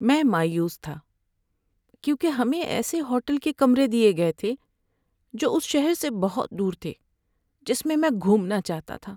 میں مایوس تھا کیونکہ ہمیں ایسے ہوٹل کے کمرے دیے گئے تھے جو اس شہر سے بہت دور تھے جس میں میں گھومنا چاہتا تھا۔